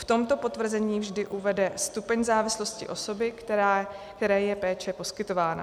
V tomto potvrzení vždy uvede stupeň závislosti osoby, které je péče poskytována.